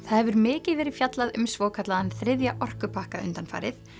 hefur mikið verið fjallað um svokallaðan þriðja orkupakka undanfarið